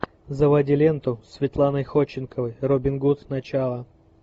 заводи ленту с светланой ходченковой робин гуд начало